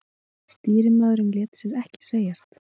Stýrimaðurinn lét sér ekki segjast.